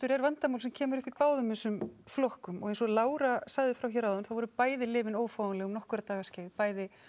er vandamál sem kemur upp í báðum þessum flokkum og eins og Lára sagði frá hér áðan voru bæði lyfin ófáanleg í nokkra daga bæði